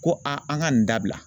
Ko a an ka nin dabila.